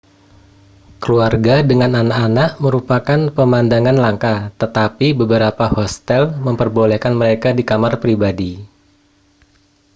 keluarga dengan anak-anak merupakan pemandangan langka tetapi beberapa hostel memperbolehkan mereka di kamar pribadi